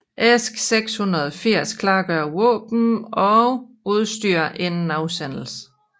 ESK 680 klargør våben og udstyr inden afsendelse